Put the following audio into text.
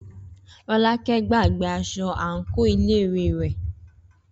Rọ́lákẹ́ gbàgbé aṣọ àǹkóò iléèwé rẹ̀.